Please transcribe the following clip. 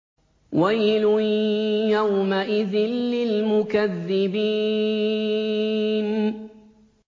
وَيْلٌ يَوْمَئِذٍ لِّلْمُكَذِّبِينَ